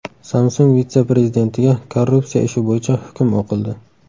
Samsung vitse-prezidentiga korrupsiya ishi bo‘yicha hukm o‘qildi.